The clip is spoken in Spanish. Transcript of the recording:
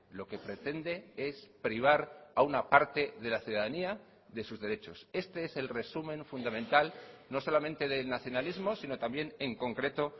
lo que pretende es privar a una parte de la ciudadanía de sus derechos este es el resumen fundamental no solamente del nacionalismo sino también en concreto